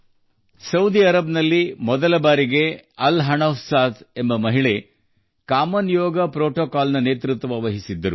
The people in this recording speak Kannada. ಸೌದಿ ಅರೇಬಿಯಾದಲ್ಲಿ ಮೊದಲ ಬಾರಿಗೆ ಅಲ್ ಹನೂಫ್ ಸಾದ್ ಜಿ ಎಂಬ ಮಹಿಳೆ ಸಾಮಾನ್ಯ ಯೋಗ ಸಂಪ್ರದಾಯವನ್ನು ಮುನ್ನಡೆಸಿದರು